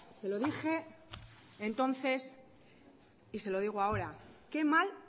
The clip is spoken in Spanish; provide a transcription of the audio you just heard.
se lo dije entonces y se lo digo ahora qué mal